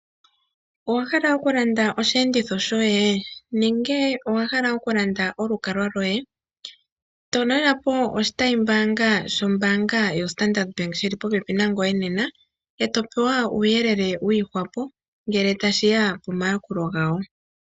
Owahala okulanda osheenditho shoye? Nenge owa hala okulanda olukalwa lwoye? Talelapo oshitayimbaanga shombaanga yoStandard bank shoka shili popepi nangoye nena, etopewa uuyelele wa gwana ngele tashiya komayakulo gawo.